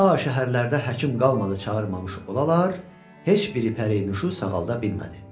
Ta şəhərlərdə həkim qalmadı çağırmamış olalar, heç biri pərinüşü sağalda bilmədi.